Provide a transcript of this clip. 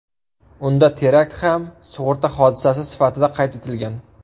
Unda terakt ham sug‘urta hodisasi sifatida qayd etilgan.